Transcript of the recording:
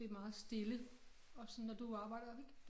Det meget stille også når du arbejder ik